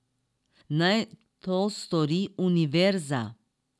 Naj to stori univerza.